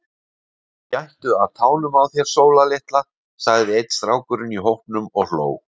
Gættu að tánum á þér Sóla litla, sagði einn strákurinn í hópnum og hló.